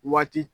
Waati